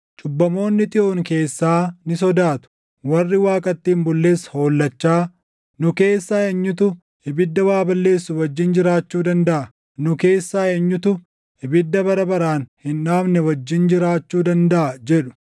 Cubbamoonni Xiyoon keessaa ni sodaatu; warri Waaqatti hin bulles hollachaa, “Nu keessaa eenyutu ibidda waa balleessu wajjin jiraachuu dandaʼa? Nu keessaa eenyutu ibidda bara baraan hin dhaamne wajjin jiraachuu dandaʼa?” jedhu.